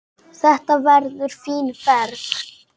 Þetta verður fín ferð.